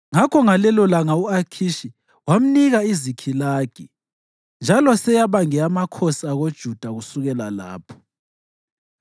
Ngakho ngalelolanga u-Akhishi wamnika iZikhilagi, njalo seyaba ngeyamakhosi akoJuda kusukela lapho.